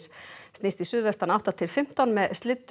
snýst í suðvestan átta til fimmtán með